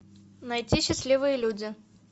найти счастливые люди